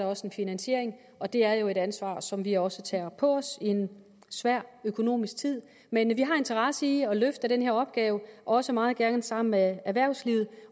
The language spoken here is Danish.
også en finansiering og det er jo et ansvar som vi også tager på os i en svær økonomisk tid men vi har interesse i at løfte den her opgave også meget gerne sammen med erhvervslivet